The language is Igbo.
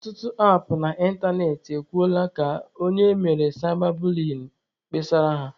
Ọtụtụ apụ na ịntanetị e kwuola ka onye emere saịba buliyin kpesara ha.